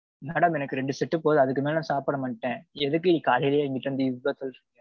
madam எனக்கு ரெண்டு set போதும் அதுக்கு மேல சாப்பிட மாட்டேன் எதுக்கு காலையிலேயே என்கிட்ட இருந்து இது போல சொல்றீங்க.